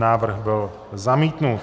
Návrh byl zamítnut.